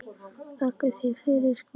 Þakka þér fyrir skóna.